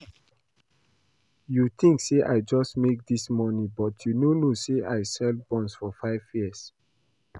You think say I just make dis money but you no know say I sell buns for five years